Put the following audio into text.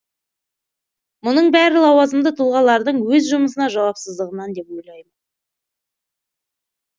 мұның бәрі лауазымды тұлғаларадың өз жұмысына жауапсыздығынан деп ойлаймын